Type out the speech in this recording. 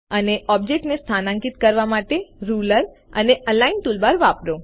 અને ઓબ્જેક્ટને સ્થાન્કિત કરવા માટે રૂલર અને અલાઇન ટૂલબાર વાપરો